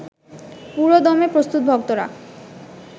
পুরোদমে প্রস্তুত ভক্তরা